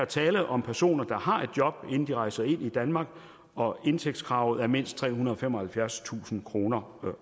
tale om personer der har fået et job her inden de rejser ind i danmark og indtægtskravet er på mindst trehundrede og femoghalvfjerdstusind kroner